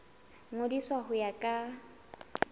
ngodiswa ka ho ya ka